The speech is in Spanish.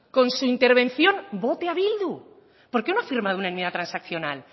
con su intervención vote a bildu por qué no ha firmado una enmienda transaccional